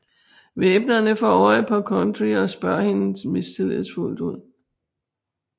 Væbnerne får øje på Kundry og spørger hende mistillidsfuldt ud